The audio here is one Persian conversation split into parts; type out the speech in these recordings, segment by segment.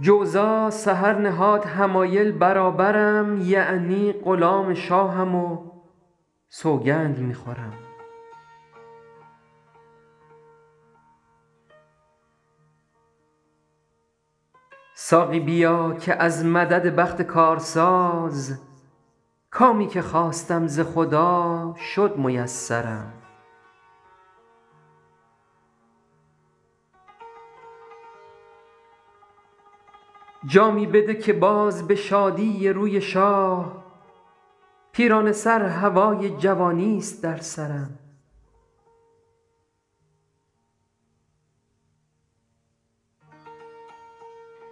جوزا سحر نهاد حمایل برابرم یعنی غلام شاهم و سوگند می خورم ساقی بیا که از مدد بخت کارساز کامی که خواستم ز خدا شد میسرم جامی بده که باز به شادی روی شاه پیرانه سر هوای جوانیست در سرم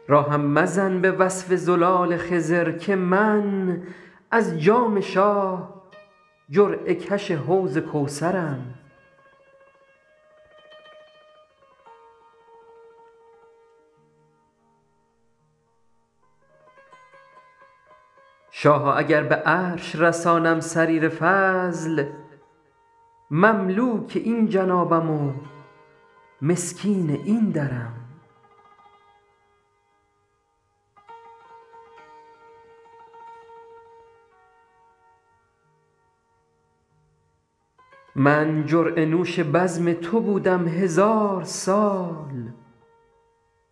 راهم مزن به وصف زلال خضر که من از جام شاه جرعه کش حوض کوثرم شاها اگر به عرش رسانم سریر فضل مملوک این جنابم و مسکین این درم من جرعه نوش بزم تو بودم هزار سال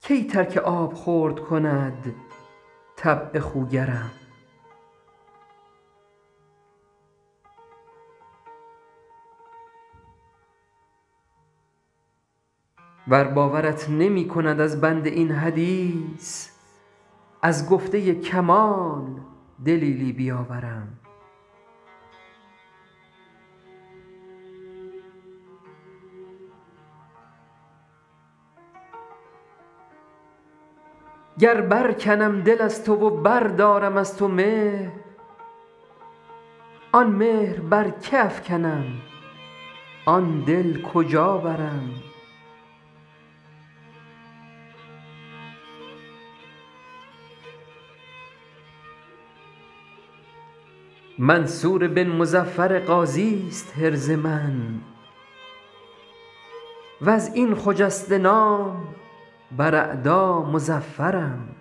کی ترک آبخورد کند طبع خوگرم ور باورت نمی کند از بنده این حدیث از گفته کمال دلیلی بیاورم گر برکنم دل از تو و بردارم از تو مهر آن مهر بر که افکنم آن دل کجا برم منصور بن مظفر غازیست حرز من و از این خجسته نام بر اعدا مظفرم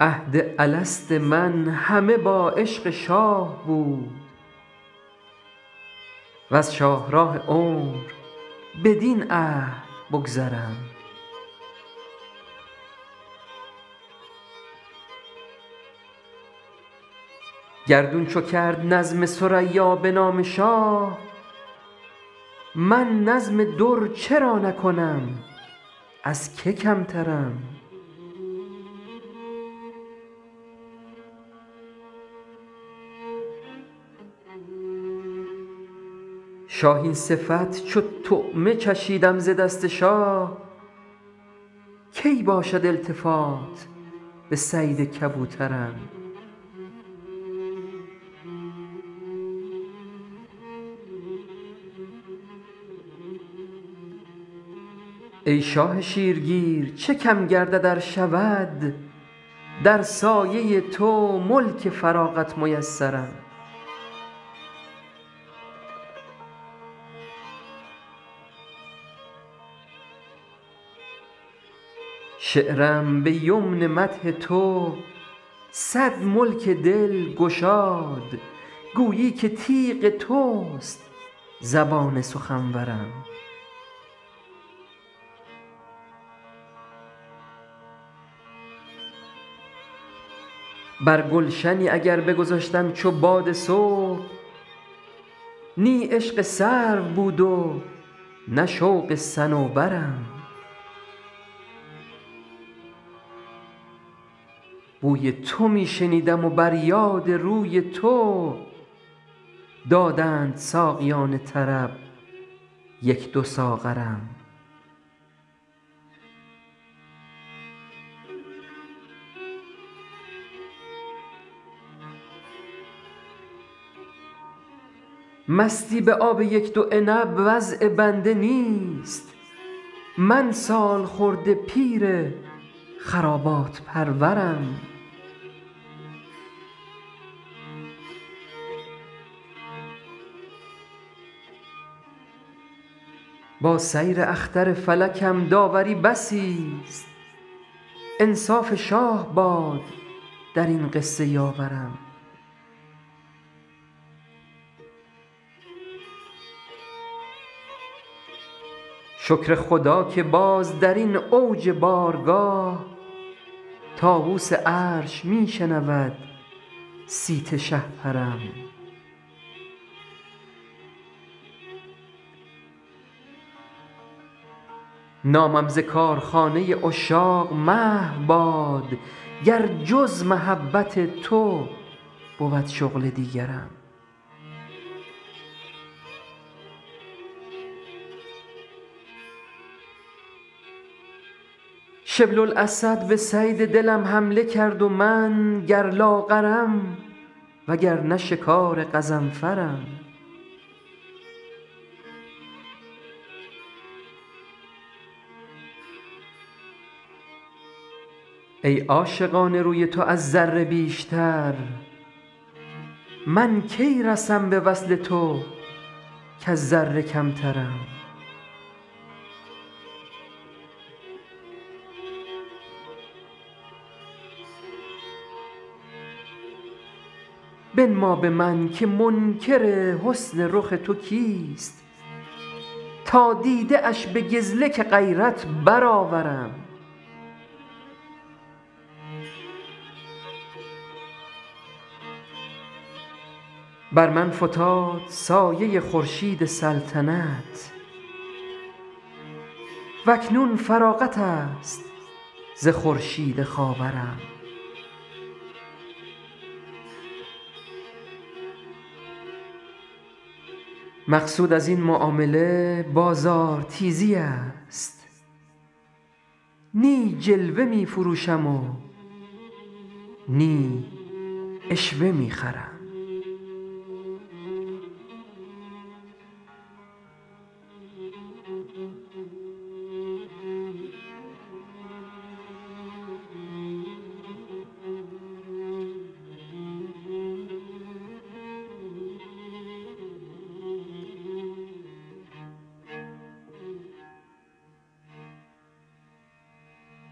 عهد الست من همه با عشق شاه بود وز شاهراه عمر بدین عهد بگذرم گردون چو کرد نظم ثریا به نام شاه من نظم در چرا نکنم از که کمترم شاهین صفت چو طعمه چشیدم ز دست شاه کی باشد التفات به صید کبوترم ای شاه شیرگیر چه کم گردد ار شود در سایه تو ملک فراغت میسرم شعرم به یمن مدح تو صد ملک دل گشاد گویی که تیغ توست زبان سخنورم بر گلشنی اگر بگذشتم چو باد صبح نی عشق سرو بود و نه شوق صنوبرم بوی تو می شنیدم و بر یاد روی تو دادند ساقیان طرب یک دو ساغرم مستی به آب یک دو عنب وضع بنده نیست من سالخورده پیر خرابات پرورم با سیر اختر فلکم داوری بسیست انصاف شاه باد در این قصه یاورم شکر خدا که باز در این اوج بارگاه طاووس عرش می شنود صیت شهپرم نامم ز کارخانه عشاق محو باد گر جز محبت تو بود شغل دیگرم شبل الاسد به صید دلم حمله کرد و من گر لاغرم وگرنه شکار غضنفرم ای عاشقان روی تو از ذره بیشتر من کی رسم به وصل تو کز ذره کمترم بنما به من که منکر حسن رخ تو کیست تا دیده اش به گزلک غیرت برآورم بر من فتاد سایه خورشید سلطنت و اکنون فراغت است ز خورشید خاورم مقصود از این معامله بازارتیزی است نی جلوه می فروشم و نی عشوه می خرم